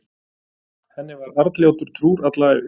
henni var arnljótur trúr alla ævi